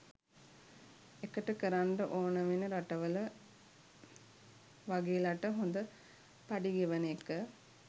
එකට කරන්ඩ ඕන වෙන රටවල වගේලට හොඳ පඩි ගෙවන එක